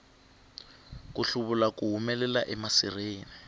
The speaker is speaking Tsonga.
ku hluvula ku humelela emasirheni